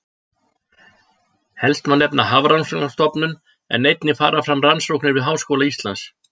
Helst má nefna Hafrannsóknastofnun en einnig fara fram rannsóknir við Háskóla Íslands.